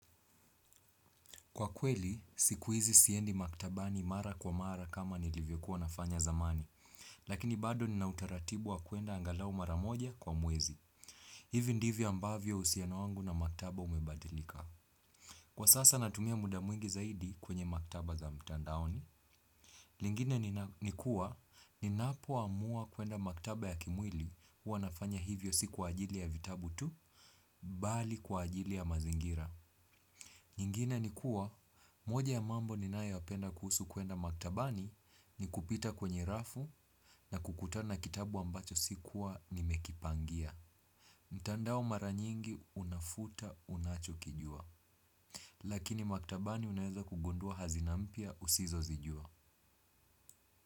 Kwa kweli, siku hizi siendi maktabani mara kwa mara kama nilivyokuwa nafanya zamani, lakini bado nina utaratibu wa kuenda angalau mara moja kwa mwezi. Hivi ndivyo ambavyo uhusiano wangu na maktaba umebadilika. Kwa sasa natumia muda mwingi zaidi kwenye maktaba za mtandaoni. Lingine ni kuwa, ninapoamua kuenda maktaba ya kimwili huwa nafanya hivyo si kwa ajili ya vitabu tu, bali kwa ajili ya mazingira. Nyingine ni kuwa, moja ya mambo ninayoyapenda kuhusu kuenda maktabani ni kupita kwenye rafu na kukutana na kitabu ambacho sikuwa nimekipangia. Mtandao mara nyingi unafuta unachokijua. Lakini maktabani unaeza kugundua hazina mpya usizozijua.